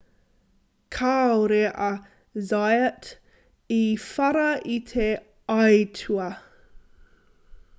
kāore a zayat i whara i te aitua